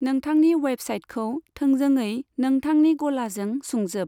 नोंथांनि वेबसाइटखौ थोंजोङै नोंथांनि गलाजों सुंजोब।